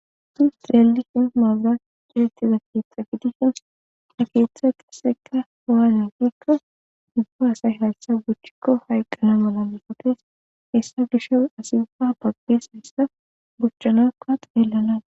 suus xreli in maazira diretiza keeththa gidishin ha keeththa qasseka hawaalonkikka dubbo asay haltsha buchchikko hayqqana mala mosopes hessa gisho asibfa baqqes hissa buchchanakka xeellana